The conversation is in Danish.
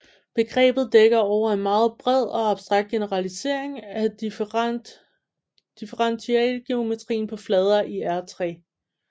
Begrebet dækker over en meget bred og abstrakt generalisering af differentialgeometrien på flader i R3